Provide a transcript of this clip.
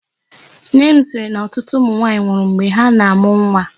Nne m sịrị na ọtụtụ ụmụ nwaanyị nwụrụ mgbe ha na-amụ nwa.